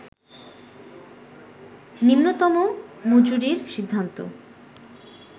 নিম্নতম মজুরির সিদ্ধান্ত